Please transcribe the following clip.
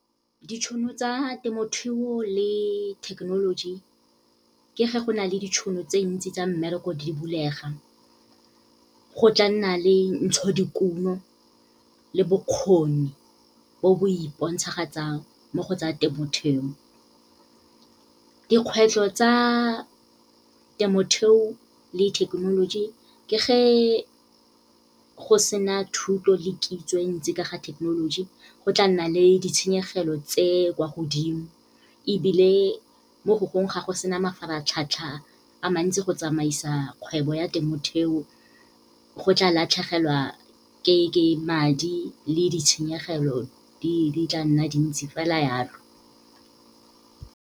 Ditšhono tsa temothuo le thekenoloji ke ge go na le ditšhono tse ntsi tsa mmereko di bulega. Go tla nna le ntshodikuno le bokgoni bo bo ipontshagatsang mo go tsa temothuo. Dikgwetlho tsa temothuo le thekenoloji ke ge go sena thuto le kitso e ntsi ka ga thekenoloji, go tla nna le ditshenyegelo tse kwa godimo. Ebile mo go gongwe, ga go sena mafaratlhatlha a mantsi, go tsamaisa kgwebo ya temothuo, go tla latlhegelwa ke madi le ditshenyegelo di tla nna dintsi, fela yalo.